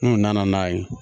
N'u nana n'a ye